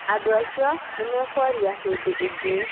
Andũ acio nĩ mekwaria hĩndĩ ĩngĩ